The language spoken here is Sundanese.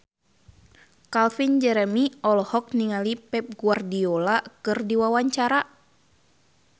Calvin Jeremy olohok ningali Pep Guardiola keur diwawancara